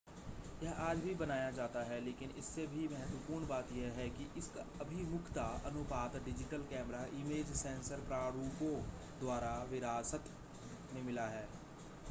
यह आज भी बनाया जाता है लेकिन इससे भी महत्वपूर्ण बात यह है कि इसका अभिमुखता अनुपात डिजिटल कैमरा इमेज सेंसर प्रारूपों द्वारा विरासत में मिला है